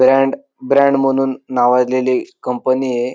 Brand brand म्हणून नावाजलेली company आहे.